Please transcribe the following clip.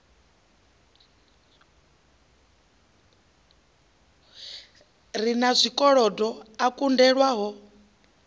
re na zwikolodo a kunḓelwaho